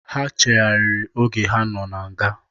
Ha cheghariri oge ha nọ na nga.